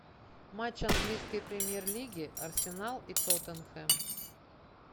матч английской премьер лиги арсенал и тоттенхэм